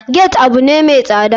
Gate abune mai tsada.